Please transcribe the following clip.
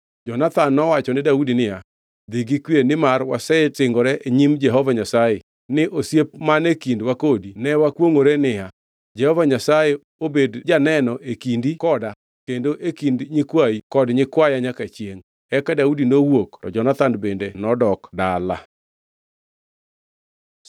Jonathan nowachone Daudi niya, “Dhi gi kwe nimar wasesingore e nyim Jehova Nyasaye ni osiep man e kindwa kodi ka wakwongʼore niya, Jehova Nyasaye obed janeno e kindi koda kendo e kind nyikwayi kod nyikwaya nyaka chiengʼ” Eka Daudi nowuok to Jonathan bende nodok dala.